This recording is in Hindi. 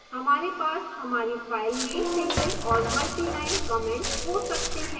हमारे पास हमारी file में single और multiline comments हो सकते हैं